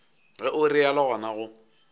ge o realo gona go